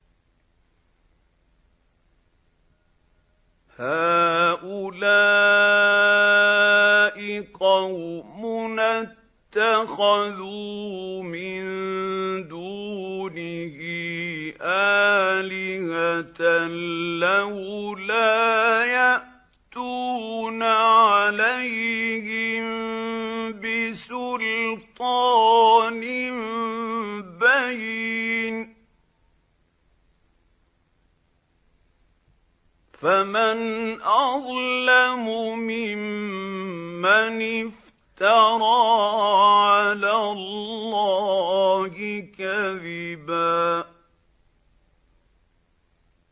هَٰؤُلَاءِ قَوْمُنَا اتَّخَذُوا مِن دُونِهِ آلِهَةً ۖ لَّوْلَا يَأْتُونَ عَلَيْهِم بِسُلْطَانٍ بَيِّنٍ ۖ فَمَنْ أَظْلَمُ مِمَّنِ افْتَرَىٰ عَلَى اللَّهِ كَذِبًا